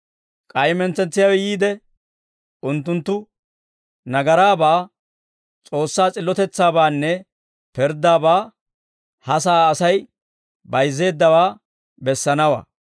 K'ay mentsetsiyaawe yiide, unttunttu nagaraabaa, S'oossaa s'illotetsaabaanne pirddaabaa ha sa'aa Asay bayizzeeddawaa bessanawaa.